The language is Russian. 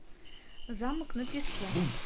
замок на песке